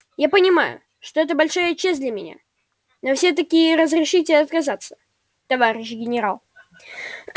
я понимаю что это большая честь для меня но всё-таки разрешите отказаться товарищ генерал